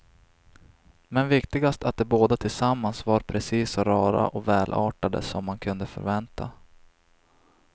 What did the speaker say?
Men viktigast att de båda tillsammans var precis så rara och välartade som man kunde förvänta.